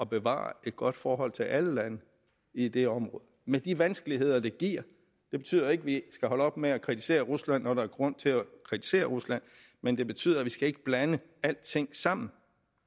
bevare et godt forhold til alle lande i det område med de vanskeligheder det giver det betyder ikke at vi skal holde op med at kritisere rusland når der er grund til at kritisere rusland men det betyder at vi ikke skal blande alting sammen